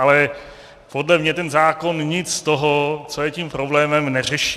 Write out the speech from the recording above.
Ale podle mě ten zákon nic z toho, co je tím problémem, neřeší.